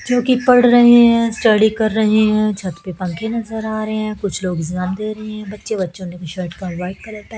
जो कि पढ़ रहे हैं स्टडी कर रहे हैं छत पे पंखे नजर आ रहे हैं कुछ लोग एग्जाम दे रहे हैं बच्चे बच्चों ने शर्ट का व्हाइट --